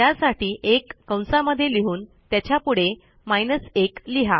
त्यासाठी 1 कंसामध्ये लिहून त्याच्यापुढे 1 लिहा